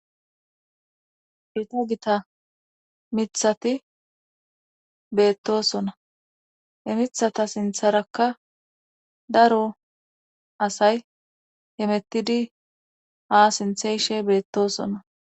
Heto gita mithati beettosona he mithata sintharakka daro asay hemettidi ha sintheyshe beettosona.